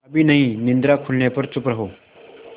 अभी नहीं निद्रा खुलने पर चुप रहो